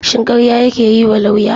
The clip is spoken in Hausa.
Shin karya kake yiwa lauya?